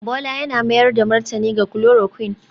Bola yana mayar da martani ga chloroquine